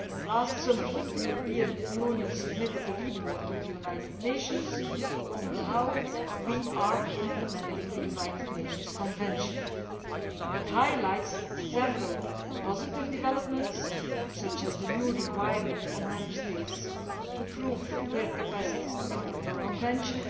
Last summer, the European Union submitted a report to the United Nations on how we are implementing the United Nations Convention. It highlights several positive developments, such as the new requirement on Member States to prove their capacity to implement the Convention